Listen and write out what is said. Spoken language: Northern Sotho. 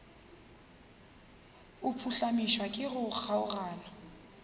a phuhlamišwa ke go kgaogana